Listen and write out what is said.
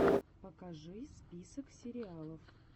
покажи список сериалов